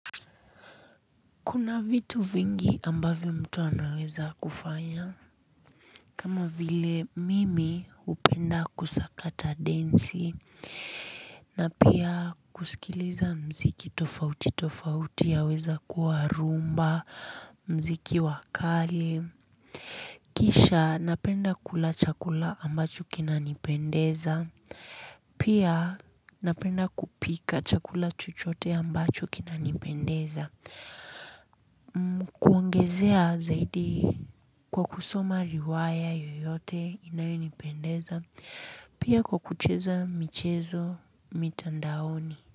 Kuna vitu vingi ambavyo mtu anaweza kufanya kama vile mimi hupenda kusakata densi na pia kusikiliza mziki tofauti tofauti yaweza kuwa rumba, mziki wakale. Kisha napenda kula chakula ambacho kinanipendeza. Pia napenda kupika chakula chuchote ambacho kina nipendeza. Kuongezea zaidi kwa kusoma riwaya yoyote inayonipendeza pia kwa kucheza michezo mitandaoni.